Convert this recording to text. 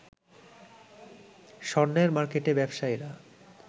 স্বর্ণের মার্কেটে ব্যবসায়ীরা